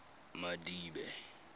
madibe